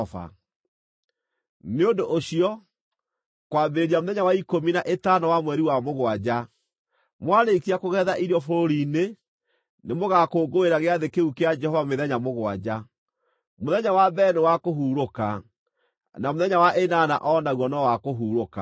“ ‘Nĩ ũndũ ũcio, kwambĩrĩria mũthenya wa ikũmi na ĩtano wa mweri wa mũgwanja, mwarĩkia kũgetha irio bũrũri-inĩ, nĩ mũgaakũngũĩra gĩathĩ kĩu kĩa Jehova mĩthenya mũgwanja. Mũthenya wa mbere nĩ wa kũhurũka, na mũthenya wa ĩnana o naguo no wa kũhurũka.